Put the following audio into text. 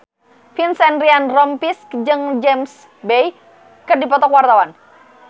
Vincent Ryan Rompies jeung James Bay keur dipoto ku wartawan